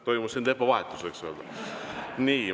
Toimus siin tempo vahetus, võiks öelda.